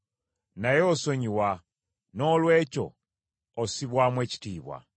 Naye osonyiwa; noolwekyo ossibwamu ekitiibwa.